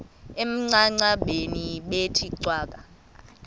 emangcwabeni bethe cwaka